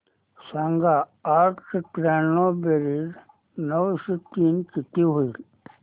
सांग आठशे त्र्याण्णव बेरीज नऊशे तीन किती होईल